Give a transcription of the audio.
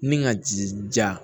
Ni ka ji ja